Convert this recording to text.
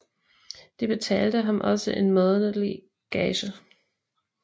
De betalte ham også en månedlig gage